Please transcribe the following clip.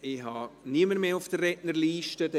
Ich habe niemanden mehr auf der Rednerliste stehen.